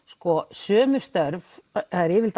sömu störf yfirleitt